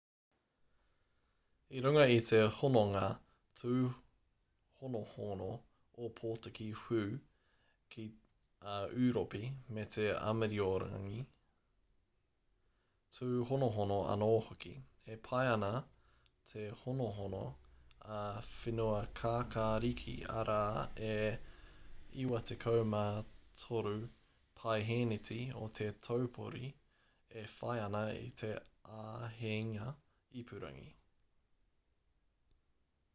i runga i te hononga tūhonohono opotiki weu ki a ūropi me te āmiorangi tūhonohono anō hoki e pai ana te honohono a whenuakākāriki arā e 93% o te taupori e whai ana i te āheinga ipurangi